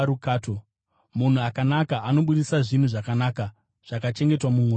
Munhu akanaka anobudisa zvinhu zvakanaka zvakachengetwa mumwoyo make.